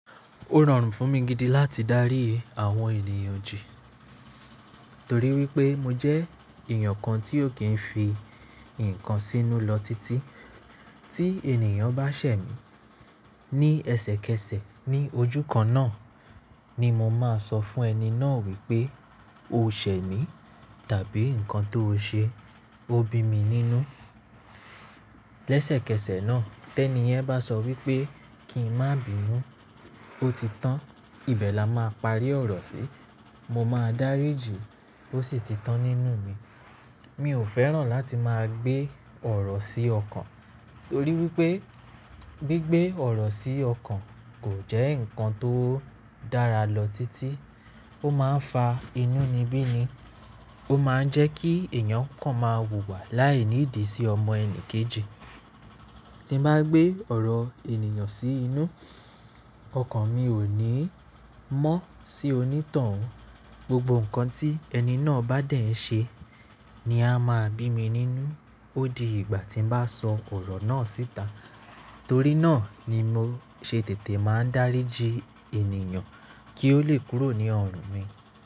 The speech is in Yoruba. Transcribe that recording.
Ó rọrùn fún mi gidi láti dárí àwọn ènìyàn jí torí wípé mojẹ́ èèyàn kan tí ó kì í fi nǹkan sínú lọ títí tí ènìyàn bá ṣẹ̀ mí. Ní ẹ̀ṣẹ̀kẹ̀sẹ̀ ní ojú kan náà ni mo máa sọ fún ẹni náà wípé "O ṣẹ̀ mì" tàbí "Nǹkan tó o ṣe ó bí mi nínú". Lẹ́sẹ̀kẹsẹ̀ náà, tẹ́ní yan bá sọ wí pé "Kì í má bímú, ó ti tán", ìbẹ̀ là máà parí ọ̀rọ̀ sí. Mo máa dáríjì, ó sì ti tán nínú mi. Miò fẹ́ràn láti máa gbé ọ̀rọ̀ sí ọkàn torí wípé gbé gbé ọ̀rọ̀ sí ọkàn kò jẹ́ nǹkan tó dára lọ tití, ó máa ń fa inúni bíní, ó máa ń jẹ́ kí èèyàn kan máa wùwà láìnídìí sí ọmọ ẹnìkejì. Tín bá gbé ọ̀rọ̀ ènìyàn sí inú, ọkàn mi ò ní mọ́ sí onítoun. Gbogbo nǹkan tí ẹni náà bá dẹ̀ ṣe ni á máa bími nínú ódi ìgbà tín bá sọ ọ̀rọ̀ náà síta, torí náà ni mo ṣe tètè máa ń dáríji ènìyàn kí ó le kúrò ní ọrùn mi.